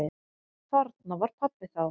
Þarna var pabbi þá.